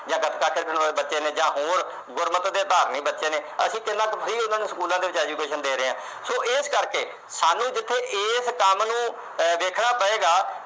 ਜਾਂ ਬੱਚੇ ਨੇ ਜਾਂ ਹੋਰ ਗੁਰਮਤਿ ਤੇ ਧਾਰਮਿਕ ਬੱਚੇ ਨੇ। ਅਸੀਂ ਕਿੰਨਾ ਕੁ ਉਹਨਾਂ ਨੂੰ schools ਦੇ ਵਿੱਚ free education ਦੇ ਰਹੇ ਆਂ। so ਇਸ ਕਰਕੇ ਜਿੱਥੇ ਸਾਨੂੰ ਇਸ ਕੰਮ ਨੂੰ ਦੇਖਣਾ ਪਏਗਾ